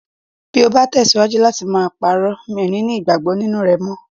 . Bí o bá tẹ̀síwájú láti máa parọ́, mi ò ní ní ìgbàgbọ́ nínú rẹ mọ́.